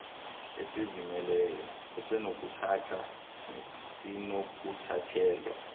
esizimeleyo esinokuthatha nesinokuthathelwa